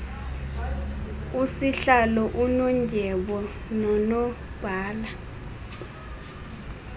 usihlalo unondyebo nonobhala